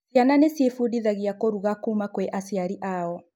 Ciana nĩcĩfundithagĩa kũrũga kũma kwĩ aciari ao